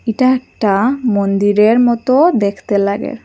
এটা একটা মন্দিরের মতো দেখতে লাগে।